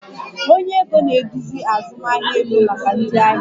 Onye ego na-eduzi azụmahịa ego maka ndị ahịa